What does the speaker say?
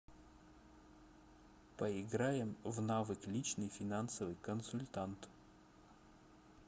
поиграем в навык личный финансовый консультант